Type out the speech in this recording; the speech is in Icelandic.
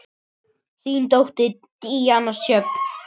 Þín dóttir, Díana Sjöfn.